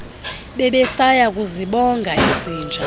bebesaya kuzibonga izinja